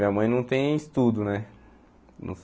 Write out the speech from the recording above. Minha mãe não tem estudo né.